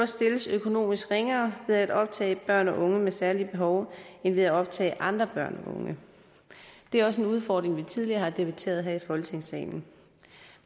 stilles økonomisk ringere ved at optage børn og unge med særlige behov end ved at optage andre børn og unge det er også en udfordring vi tidligere har debatteret her i folketingssalen